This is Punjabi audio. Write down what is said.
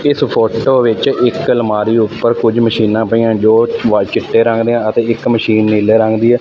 ਇੱਸ ਫ਼ੋਟੋ ਵਿੱਚ ਇੱਕ ਅਲਮਾਰੀ ਊਪਰ ਕੁਝ ਮਸ਼ੀਨਾਂ ਪਈਆਂ ਦੋ ਵਾਇ ਚਿੱਟੇ ਰੰਗ ਦਿਆਂ ਅਤੇ ਇੱਕ ਮਸ਼ੀਨ ਨੀਲੇ ਰੰਗ ਦੀ ਹੈ।